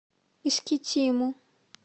искитиму